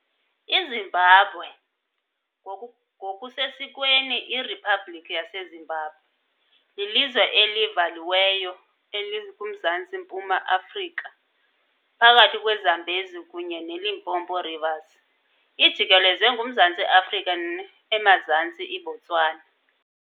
IZimbabwe, ngokusesikweni iRiphabhlikhi yaseZimbabwe, lilizwe elivaliweyo elikuMzantsi-mpuma Afrika, phakathi kweZambezi kunye neLimpopo Rivers, ijikelezwe nguMzantsi Afrika emazantsi, iBotswana